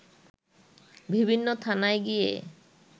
বিভিন্ন থানায় গিয়ে